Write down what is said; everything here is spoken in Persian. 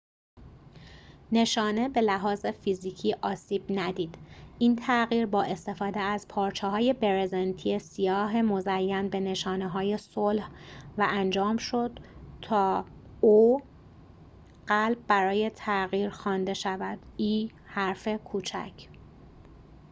نشانه به لحاظ فیزیکی آسیب ندید این تغییر با استفاده از پارچه‌های برزنتی سیاه مزین به نشانه‌های صلح و قلب برای تغییر o انجام شد تا حرف کوچک e خوانده شود